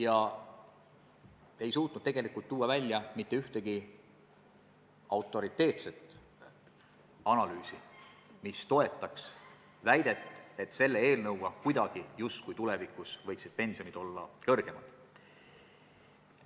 Samas ta ei suutnud välja tuua mitte ühtegi autoriteetset analüüsi, mis toetaks väidet, et selle seaduse mõjul on tulevikus pensionid suuremad.